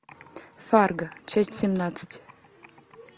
фарго часть семнадцать